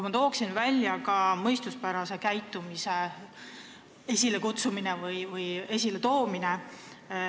Ma tooksin välja ka mõistuspärase käitumise.